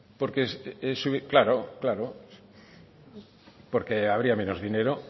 porque claro claro porque habría menos dinero